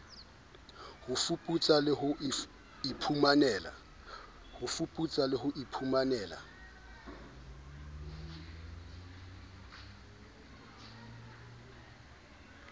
ho fuputsa le ho iphumanela